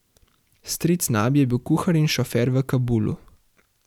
Stric Nabi je bil kuhar in šofer v Kabulu.